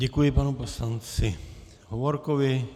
Děkuji panu poslanci Hovorkovi.